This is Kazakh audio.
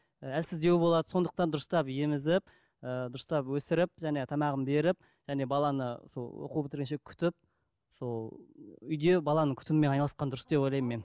ііі әлсіздеу болады сондықтан дұрыстап емізіп ыыы дұрыстап өсіріп және тамағын беріп және баланы сол оқу бітіргенше күтіп сол үйде баланың күтімімен айналысқан дұрыс деп ойлаймын мен